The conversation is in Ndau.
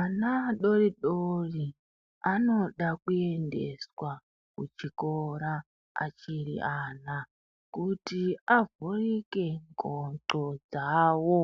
Ana adoridori anoda kuendeswa kuchikora achiri ana, kuti avhurike ngondo dzavo